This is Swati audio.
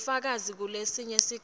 bufakazi kulesinye sikhatsi